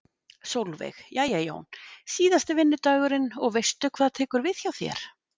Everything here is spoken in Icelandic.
Sólveig: Jæja Jón, síðasti vinnudagurinn og veistu hvað tekur við hjá þér?